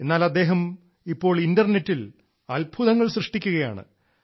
എന്നാൽ ഇപ്പോൾ അദ്ദേഹം ഇന്റർനെറ്റിൽ അത്ഭുതങ്ങൾ സൃഷ്ടിക്കുകയാണ്